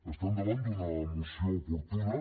estem davant d’una moció oportuna